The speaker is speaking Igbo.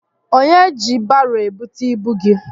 Onye ji baro ebute ibu gị?